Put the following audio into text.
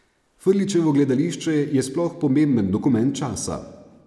Frljićevo gledališče je sploh pomemben dokument časa.